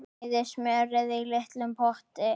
Bræðið smjörið í litlum potti.